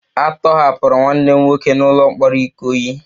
A tọhapụrụ nwanne m nwoke n'ụlọ mkpọrọ ikoyi